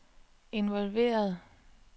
involveret